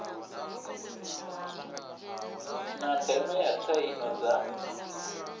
na ndeme ya tsaino dza